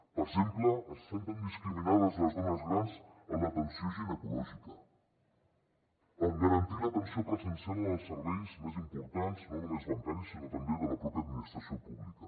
per exemple es senten discriminades les dones grans en l’atenció ginecològica en garantir l’atenció presencial en els serveis més importants no només bancaris sinó també de la pròpia administració pública